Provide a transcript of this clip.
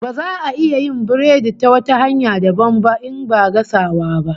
Baza a iya yin biredi ta wata hanya dabam ba in ba gasawa ba